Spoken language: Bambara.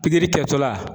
Pikiri kɛtɔla